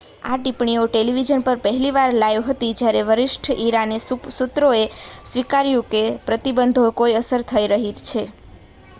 આ ટિપ્પણીઓ ટેલિવિઝન પર પહેલી વાર લાઇવ હતી જ્યારે વરિષ્ઠ ઈરાની સૂત્રોએ સ્વીકાર્યું છે કે પ્રતિબંધોની કોઈ અસર થઈ રહી છે